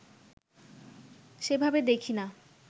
সেভাবে দেখি না